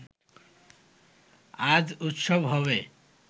আজ উত্সব হবে